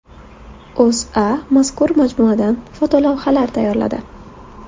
O‘zA mazkur majmuadan fotolavhalar tayyorladi .